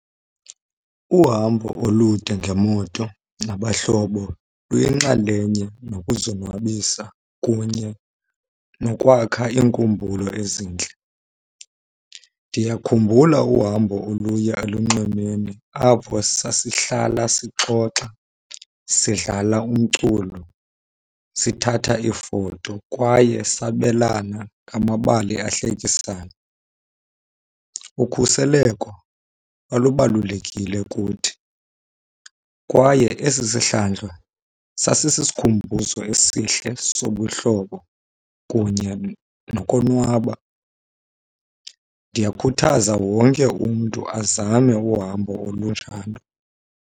Uhambo olude ngemoto nabahlobo luyinxalenye nokuzonwabisa kunye nokwakha iinkumbulo ezintle. Ndiyakhumbula uhambo oluya elunxwemeni apho sasihlala sixoxa, sidlala umculo, sithatha iifoto, kwaye sabelana ngamabali ahlekisayo. Ukhuseleko lalubalulekile kuthi kwaye esi sihlandlo sasisisikhumbuzo esihle sobuhlobo kunye nokonwaba. Ndiyakhuthaza wonke umntu azame uhambo olunjalo.